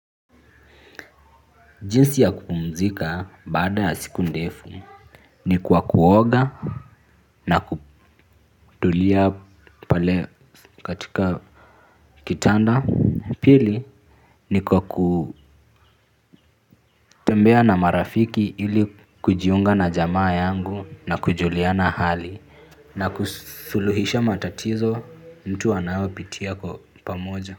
Jinsi ya kupumzika baada ya siku ndefu ni kwa kuoga na kutulia pale katika kitanda. Pili ni kwa kutembea na marafiki ili kujiunga na jamaa yangu na kujulia na hali na kusuluhisha matatizo mtu wanaopitia kwa pamoja.